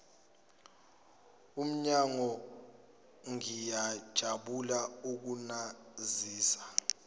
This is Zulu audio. omnyango ngiyajabula ukunazisa